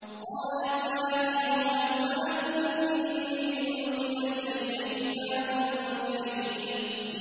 قَالَتْ يَا أَيُّهَا الْمَلَأُ إِنِّي أُلْقِيَ إِلَيَّ كِتَابٌ كَرِيمٌ